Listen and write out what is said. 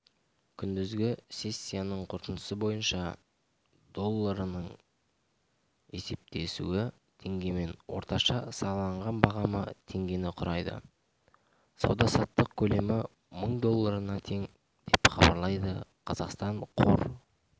күндізгі сессиясының қорытындысы бойынша долларының есептесуі теңгемен орташа сараланған бағамы теңгені құрайды сауда-саттық көлемі мың долларына тең деп хабарлайды қазақстан қор